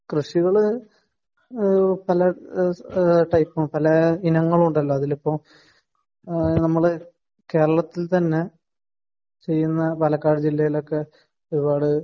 കൃഷികള് പല ടൈപ്പും ടൈപ്പും ഉണ്ടല്ലോ പല ഇനങ്ങളും ഉണ്ടല്ലോ അതിലിപ്പോ നമ്മൾ കേരളത്തിൽ ചെയ്യുന്ന പാലക്കാട് ജില്ലയിൽ ഒരു പാട്